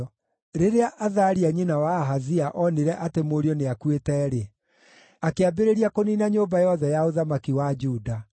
Rĩrĩa Athalia nyina wa Ahazia onire atĩ mũriũ nĩakuĩte-rĩ, akĩambĩrĩria kũniina nyũmba yothe ya ũthamaki wa Juda.